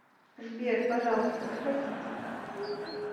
сбер пожалуйста проходите